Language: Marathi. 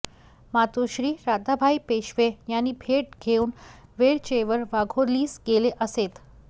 मातुश्री राधाबाई पेशवे यांची भेट घेऊन वरचेवर वाघोलीस गेले असेत